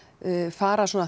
fara